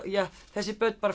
þessi börn